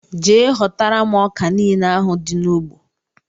Jee hotara mụ ọkà niile ahụ dị na ụgbọ!!!!